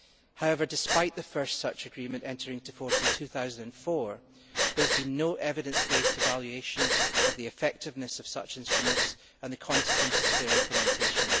However, despite that first such agreement entering into force in 2004, there has been no evidence based evaluation of the effectiveness of such instruments and the consequences of their implementation.